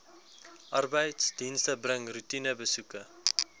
arbeidsdienste bring roetinebesoeke